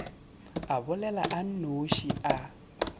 a bolela a nnoši a